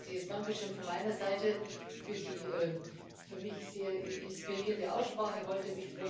Nur ein herzliches Dankeschön von meiner Seite für die für mich sehr inspirierende Aussprache heute.